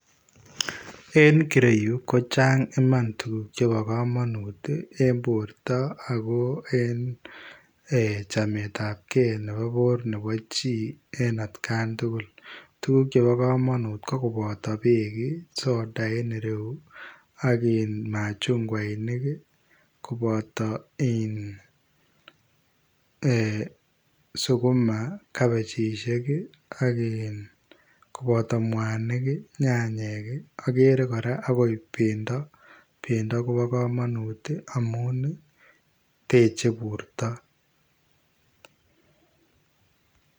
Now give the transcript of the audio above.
En kireyu kochang iman tuguk chebo komonut ii en borto ako en chametab kee nebo bor nebo chi en atkan tugul, tuguk chebo komonut ii kokonoto beek ii soda en ireyu ii ak machungwainik koboto iin ee sukuma, kabejishek ak iin koboto mwanik ii nyanyek ii ,okere koraa okot bendo, bendo kobo komonut ii amun ii teche borto.